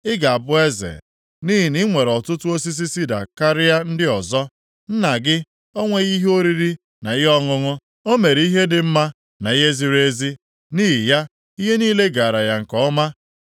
“Ị ga-abụ eze nʼihi na i nwere ọtụtụ osisi sida karịa ndị ọzọ? Nna gị o nweghị ihe oriri na ihe ọṅụṅụ? O mere ihe dị mma na ihe ziri ezi nʼihi ya ihe niile gaara ya nke ọma.